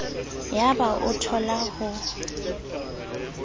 yaba o a thola ho